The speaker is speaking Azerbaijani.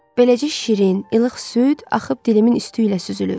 Beləcə şirin, ilıq süd axıb dilimin üstü ilə süzülür.